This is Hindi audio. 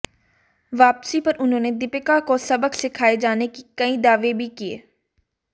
वापसी पर उन्होंने दीपिका को सबक सिखाए जाने के कई दावे भी किए